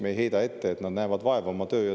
Me ei heida ette, et nad näevad vaeva oma põhitööga.